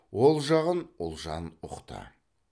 ол жағын ұлжан ұқты